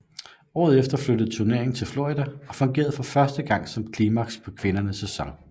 Året efter flyttede turneringen til Florida og fungerede for første gang som klimaks på kvindernes sæson